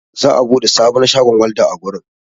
Za'a buɗe sabon shagon walda a wurin.